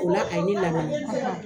O la a ye ne lamɛn